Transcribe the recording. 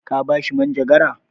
Ka ba shi manjagara?